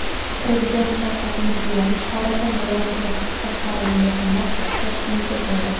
Prezident Shavkat Mirziyoyev Xorazm viloyatiga safarini yakunlab, Toshkentga keldi.